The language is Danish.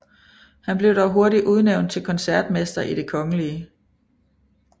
Han blev dog hurtigt udnævnt til koncertmester i Det Kgl